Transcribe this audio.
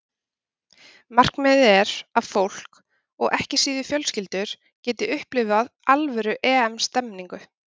Markmiðið er að fólk, og ekki síður fjölskyldur, geti upplifað alvöru EM stemningu.